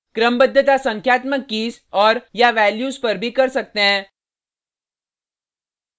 क्रमबद्धता संख्यात्मक कीज़ और/या वैल्यूज पर भी कर सकते हैं